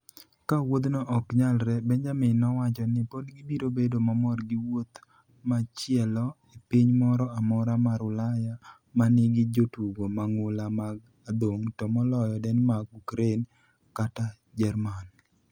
Ka wuodhno ok nyalre, Benjamin nowacho ni pod gibiro bedo mamor gi wuoth machielo e piny moro amora mar Ulaya ma nigi jotugo mang'ula mag adhong' to moloyo Denmark, Ukraine, kata Jerman.